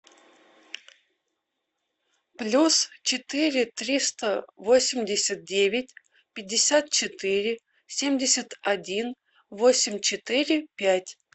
плюс четыре триста восемьдесят девять пятьдесят четыре семьдесят один восемь четыре пять